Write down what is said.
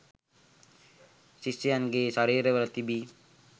ශිෂ්‍යයන්ගේ ශරීරවල තිබී